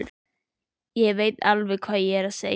Ég veit alveg hvað ég er að segja!